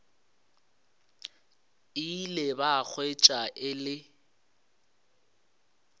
ile ba hwetša e le